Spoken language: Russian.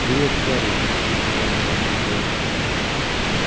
привет гарри воскликнули они в один голос